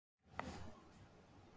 Bær í Kjósarhreppi í Kjósarsýslu.